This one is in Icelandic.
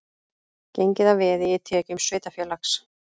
Gengið að veði í tekjum sveitarfélags